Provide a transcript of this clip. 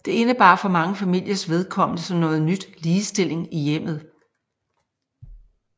Det indebar for mange familiers vedkommende som noget nyt ligestilling i hjemmet